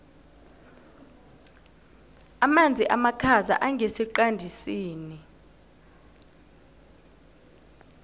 amanzi amakhaza angesiqandisini